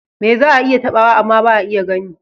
Me za a iya taɓawa amma ba a iya gani?